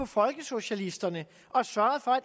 folkesocialisterne og sørget for